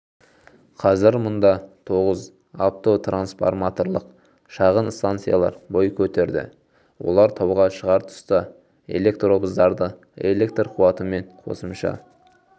қазір мұнда тоғыз автотрансформаторлық шағын станциялар бой көтерді олар тауға шығар тұста электровздарды электр қуатымен қосымша